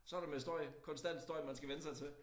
Så der med støj konstant støj man skal vænne sig til